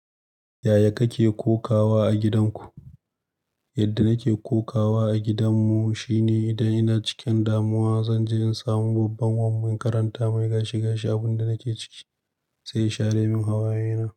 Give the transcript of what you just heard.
Yaya kake kokawa a gidanku? Yadda nake kokawa a gidan mu shine idan ina cikin damuwa, zan je in samu babban wan mu in makaranta mai gashi-gashi. Abin da nake ciki sai ya share min hawaye na.